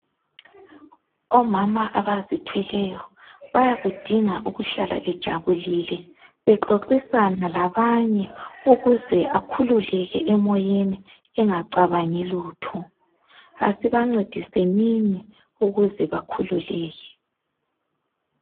omama abazithweleyo bayakudingaukuhlala bejabulile bexoxisana labanye ukuzeakhuleke emoyeni angacabangilutho asibancediseni ukuze bakhululeke